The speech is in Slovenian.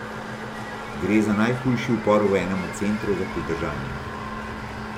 Gre za najhujši upor v enem od centrov za pridržanje.